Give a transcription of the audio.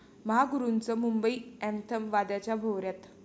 महागुरूंचं 'Mumbai anthem' वादाच्या भोवऱ्यात